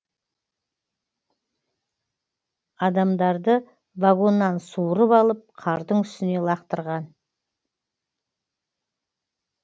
адамдарды вагоннан суырып алып қардың үстіне лақтырған